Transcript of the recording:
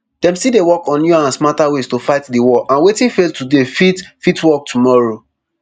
dem still dey work on newer and smarter ways to fight di war and wetin fail today fit fit work tomorrow